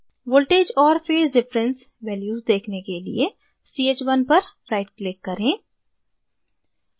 voltages और phase difference values देखने के लिए ch1 पर right click करें